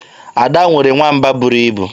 Ada nwere nwamba buru ibu.